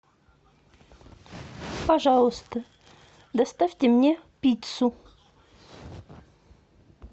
пожалуйста доставьте мне пиццу